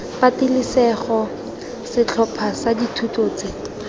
patelesego setlhopha sa dithuto tse